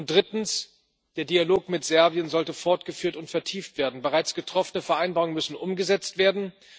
Drittens Der Dialog mit Serbien sollte fortgeführt und vertieft werden, bereits getroffene Vereinbarungen müssen umgesetzt werden.